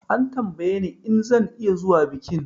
An tambaye ni in zan iya zuwa bikin